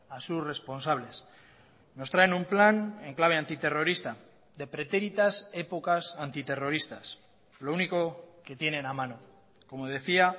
a sus responsables nos traen un plan en clave antiterrorista de pretéritas épocas antiterroristas lo único que tienen a mano como decía